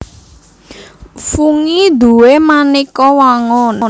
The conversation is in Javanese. Fungi duwé manéka wangun